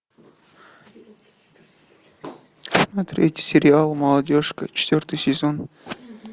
смотреть сериал молодежка четвертый сезон